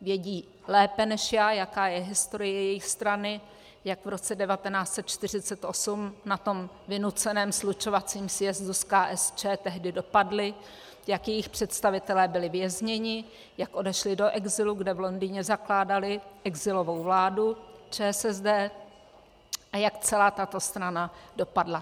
Vědí lépe než já, jaká je historie jejich strany, jak v roce 1948 na tom vynuceném slučovacím sjezdu s KSČ tehdy dopadli, jak jejich představitelé byli vězněni, jak odešli do exilu, kde v Londýně zakládali exilovou vládu ČSSD, a jak celá tato strana dopadla.